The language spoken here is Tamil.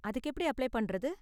அதுக்கு எப்படி அப்ளை பண்றது?